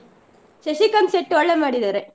ಶಶಿಕಾಂತ್ ಶೆಟ್ಟಿ ಒಳ್ಳೆ ಮಾಡಿದ್ದಾರೆ.